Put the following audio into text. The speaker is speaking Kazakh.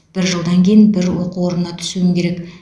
бір жылдан кейін бір оқу орнына түсуім керек